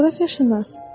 Coğrafiyaşünas.